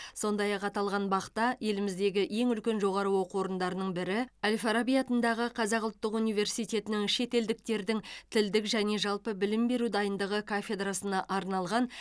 сондай ақ аталған бақ та еліміздігі ең үлкен жоғары оқу орындарының бірі әл фараби атындағы қазақ ұлттық университетінің шетелдіктердің тілдік және жалпы білім беру дайындығы кафедрасына арналған